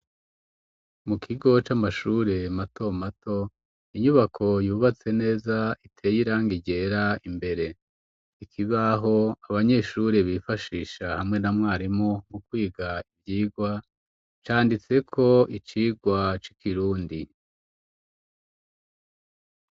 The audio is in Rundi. Mu kigo c'amashure mato mato, inyubako yubatse neza iteye irangi ryera imbere. Ikibaho, abanyeshure bifashisha hamwe na mwarimu mu kwiga ivyigwa canditseko, icigwa c'ikirundi.